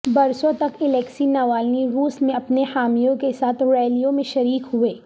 برسوں تک Alexei Navalny روس میں اپنے حامیوں کے ساتھ ریلیوں میں شریک ہوئے